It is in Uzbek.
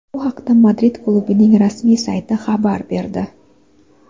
Bu haqda Madrid klubining rasmiy sayti xabar berdi .